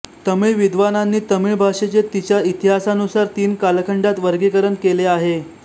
तमिळ विद्वानांनी तमिळ भाषेचे तिच्या इतिहासानुसार तीन कालखंडात वर्गीकरण केले आहे